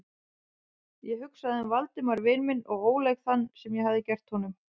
Ég hugsaði um Valdimar vin minn og óleik þann, sem ég hafði gert honum.